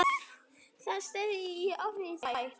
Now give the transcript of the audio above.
Það stefnir í óefni þar.